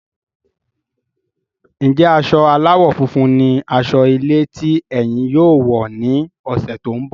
Njẹ asọ aláwọ̀ funfun ní asọ ilé tí ẹyìn yóò wọ ní ọsẹ tó n bọ?